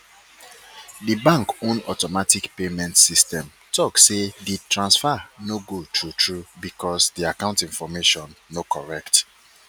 di bank own automatic payment system talk say di transfer no go through through because di account information no correct